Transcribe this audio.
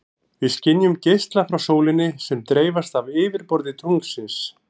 Við skynjum geisla frá sólinni sem dreifast af yfirborði tunglsins.